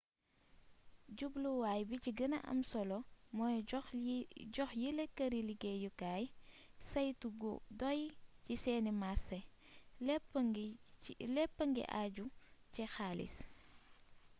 jubluwaay bi ci gëna am solo mooy jox yile këri liggéeyukaay saytu gu doy ci seeni marsé léppa ngi àju ci xaalis